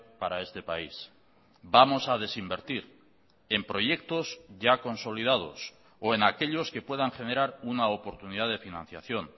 para este país vamos a desinvertir en proyectos ya consolidados o en aquellos que puedan generar una oportunidad de financiación